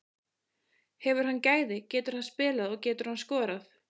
Hefur hann gæði, getur hann spilað og getur hann skorað?